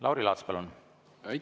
Lauri Laats, palun!